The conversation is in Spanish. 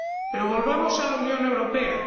Pero volvamos a la Unión Europea.